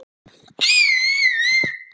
Mig langaði til að gráta en gat það ekki.